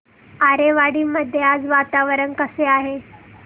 आरेवाडी मध्ये आज वातावरण कसे आहे